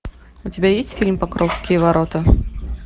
у тебя есть фильм покровские ворота